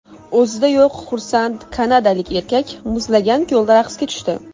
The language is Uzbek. O‘zida yo‘q xursand kanadalik erkak muzlagan ko‘lda raqsga tushdi.